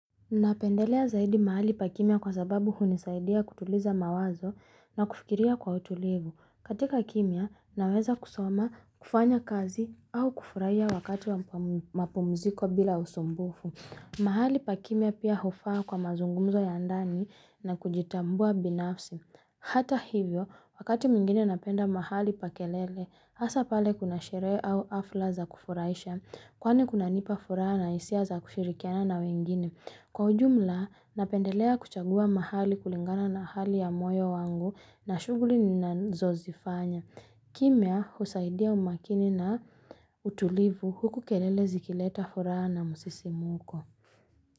Napendelea zaidi mahali pa kimya kwa sababu hunisaidia kutuliza mawazo na kufikiria kwa utulivu. Katika kimya, naweza kusoma, kufanya kazi au kufuraia wakati wa mapumziko bila usumbufu. Mahali pa kimya pia hufaa kwa mazungumzo ya ndani na kujitambua binafsi. Hata hivyo, wakati mwingine napenda mahali pa kelele, hasa pale kuna sherehe au afla za kufuraisha, Kwani kunanipa furaha na hisia za kushirikiana na wengine. Kwa ujumla, napendelea kuchagua mahali kulingana na hali ya moyo wangu na shuguli nazozifanya. Kimya, husaidia umakini na utulivu huku kelele zikileta furaha na musisimuko.